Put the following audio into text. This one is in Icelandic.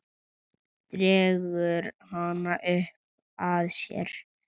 Dregur hana upp að sér.